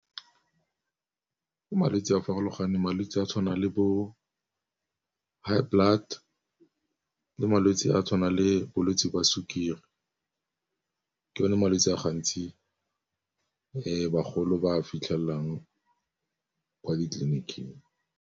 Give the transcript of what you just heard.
Ke malwetse a farologaneng, malwetsi a tshwana le bo high blood le malwetsi a tshwanang le bolwetsi jwa sukiri ka one malwetsi a gantsi bagolo ba fitlhelelang kwa ditleliniking.